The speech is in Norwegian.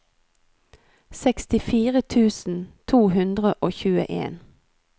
sekstifire tusen to hundre og tjueen